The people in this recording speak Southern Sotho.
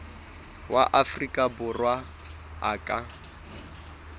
wa afrika borwa a ka